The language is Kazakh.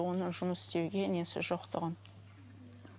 оны жұмыс істеуге несі жоқ тұғын